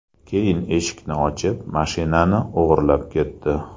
Keyin eshikni ochib, mashinanini o‘g‘irlab ketdi.